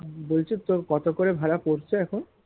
বলছি তোর কত করে ভাড়া পড়ছে এখন